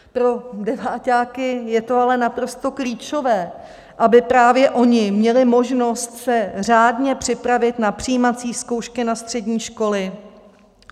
Pro deváťáky je to ale naprosto klíčové, aby právě oni měli možnost se řádně připravit na přijímací zkoušky na střední školy.